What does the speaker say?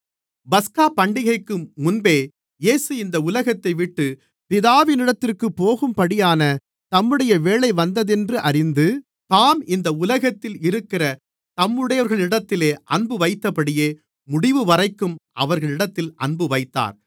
பஸ்காபண்டிகைக்கு முன்பே இயேசு இந்த உலகத்தைவிட்டுப் பிதாவினிடத்திற்குப் போகும்படியான தம்முடைய வேளை வந்ததென்று அறிந்து தாம் இந்த உலகத்தில் இருக்கிற தம்முடையவர்களிடத்தில் அன்புவைத்தபடியே முடிவுவரைக்கும் அவர்களிடத்தில் அன்புவைத்தார்